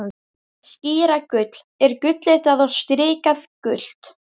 Skíragull er gulllitað og strikið gult.